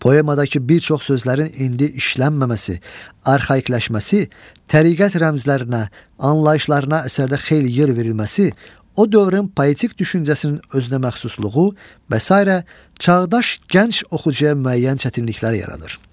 Poemadakı bir çox sözlərin indi işlənməməsi, arxaikləşməsi, təriqət rəmzlərinə, anlayışlarına əsərdə xeyli yer verilməsi, o dövrün poetik düşüncəsinin özünəməxsusluğu və sairə çağdaş gənc oxucuya müəyyən çətinliklər yaradır.